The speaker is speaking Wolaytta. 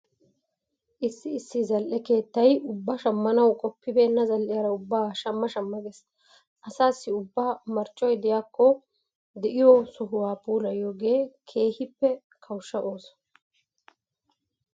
Issi issi zal"e keettay ubba shammanawu qoppibeenna zal"iyara ubbaa shamma shamma geesi. Asaassi ubba marccoy de'ikki de'iyo sohuwa puilayanaagee. keehippe kawushsha ooso.